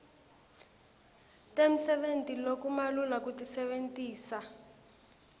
temsebenti lokumalula kutisebentisa